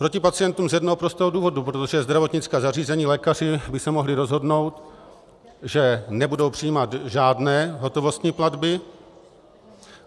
Proti pacientům z jednoho prostého důvodu, protože zdravotnická zařízení, lékaři by se mohli rozhodnout, že nebudou přijímat žádné hotovostní platby.